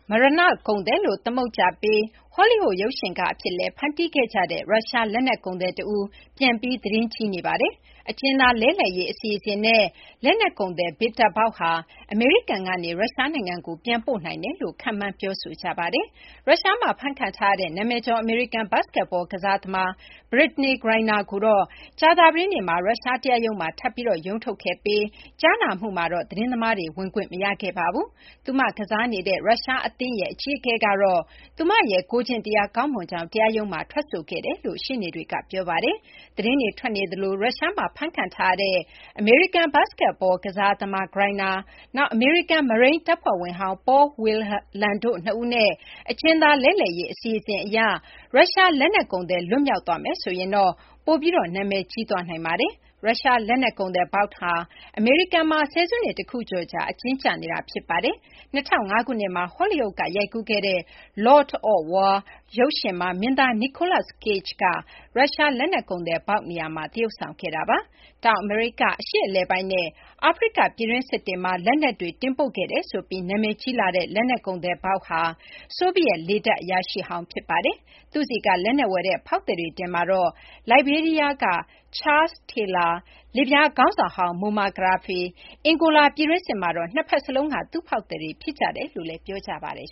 မရဏ ကုန်သည် လို့ သမုတ်ကြပြီး ဟောလီးဝုဒ် ရုပ်ရှင်ကား အဖြစ်လည်း ဖန်တီးခဲ့ကြတဲ့ ရုရှား လက်နက် ကုန်သည် တဦး ပြန်ပြီး သတင်းကြီးနေပါတယ်။ အကျဉ်းသား လဲလှယ်ရေး အစီအစဉ်နဲ့ လက်နက် ကုန်သည် Viktor Bout ဟာ အမေရိကန်ကနေ ရုရှားနိုင်ငံကို ပြန်ပို့နိုင်တယ်လို့ ခန့်မှန်းပြောဆိုနေကြတာပါ။ ရုရှားမှာ ဖမ်းခံထားရတဲ့ နာမည်ကျော် အမေရိကန် ဘတ်စကက်ဘော ကစားသမား Brittney Griner ကိုတော့ ကြာသပတေးနေ့မှာ ရုရှား တရားရုံးမှာ ထပ်ပြီး ရုံးထုတ်ခဲ့ပြီး ကြားနာမှုကိုတော့ သတင်းသမားတွေ ဝင်ခွင့် မပေးခဲ့ပါဘူး။ သူမ ကစားနေတဲ့ ရုရှားက UMMC Yekaterinburg အသင်းက အကြီးအကဲကတော့ သူမရဲ့ ကိုယ်ကျင့်တရား ကောင်းမွန်ကြောင်းကို တရားရုံးမှာ ထွက်ဆိုခဲ့ကြောင်း သူမရဲ့ ရှေ့နေတွေက ပြောပါတယ်။ သတင်းတွေ ထွက်နေသလို၊ ရုရှားမှာ ဖမ်းခံထားရတဲ့ အမေရိကန် ဘတ်စကတ်ဘောသမား Griner အမေရိကန် မရိန်းတပ်ဖွဲ့ဝင်ဟောင်း Paul Whelan တို့ နှစ်ဦးနဲ့ အကျဉ်းသား လဲလှယ်ရေး အစီအစဉ်အရ ရုရှား လက်နက်ကုန်သည် လွတ်မြောက်သွားမယ်ဆိုရင်တော့ ပိုပြီးနာမည်ကြီးသွားနိုင်ပါတယ်။ ရုရှား လက်နက်ကုန်သည် Bout ဟာ အမေရိကန်မှာ ဆယ်စုနှစ် တခုကျော်ကြာ အကျဉ်းကျနေတာ ဖြစ်ပါတယ်။ ၂၀၀၅ ခုနှစ်မှာ ဟောလိဝုဒ်က ရိုက်ကူးခဲ့တဲ့ Lord of War ရုပ်ရှင်မှာ မင်းသား Nicolas Cage က ရုရှားလက်နက်ကုန်သည် Bout နေရာမှာ သရုပ်ဆောင်ခဲ့တာပါ။ တောင်အမေရိက၊ အရှေ့အလယ်ပိုင်းနဲ့ အာဖရိက ပြည်တွင်းစစ်တွေမှာ လက်နက်တွေ တင်ပို့ခဲ့တယ်ဆိုပြီး နာမည်ကြီးလာတဲ့ လက်နက်ကုန်သည် Bout ဟာ ဆိုဗီယက် လေတပ် အရာရှိဟောင်း ဖြစ်ပါတယ်။ သူ့ဆီက လက်နက်ဝယ်တဲ့ ဖောက်သည်တွေထဲမှာတော့ လိုက်ဘေးရီးယားက Charles Taylor၊ လစ်ဗျား ခေါင်းဆောင်ဟောင်း Moammar Gadhafi နဲ့ အန်ဂိုလာ ပြည်တွင်းစစ်မှာတော့ နှစ်ဘက် စလုံးက သူ့ ဖောက်သည်တွေ ဖြစ်ကြတယ်လို့လည်း ပြောကြပါတယ်